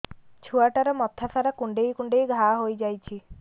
ଛୁଆଟାର ମଥା ସାରା କୁଂଡେଇ କୁଂଡେଇ ଘାଆ ହୋଇ ଯାଇଛି